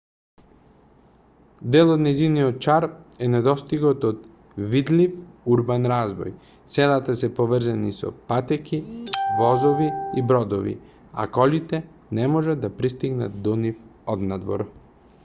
дел од нејзиниот шарм е недостигот од видлив урбан развој селата се поврзани со патеки возови и бродови а колите не можат да пристапат до нив однадвор